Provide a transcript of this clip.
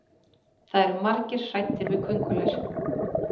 það eru margir hræddir við köngulær